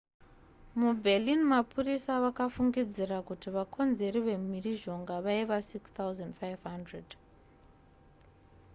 muberlin mapurisa vakafungidzira kuti vakonzeri vemhirizhonga vaiva 6,500